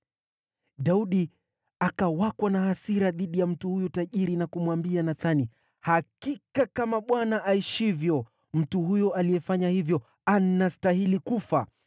Daudi akawakwa na hasira dhidi ya mtu huyo tajiri na kumwambia Nathani, “Hakika kama Bwana aishivyo, mtu huyo aliyefanya hivyo anastahili kufa!